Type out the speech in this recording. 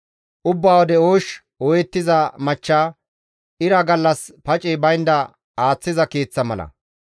Ubbaa wode oosh ooyettiza machcha ira gallas pacey baynda aaththiza keeththa mala.